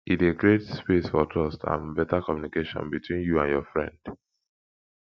e de create space for trust and better communication between you and your friend